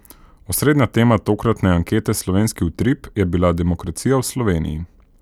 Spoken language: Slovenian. Osrednja tema tokratne ankete Slovenski utrip je bila demokracija v Sloveniji.